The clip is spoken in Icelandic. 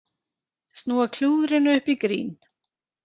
Snúa klúðrinu upp í grín